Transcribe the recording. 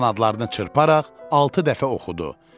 Qanadlarını çırparaq altı dəfə oxudu.